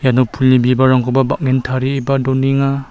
iano pulni bibalrangkoba bang·en tarieba donenga.